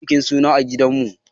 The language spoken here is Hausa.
Za mu yi bikin suna a gidan mu.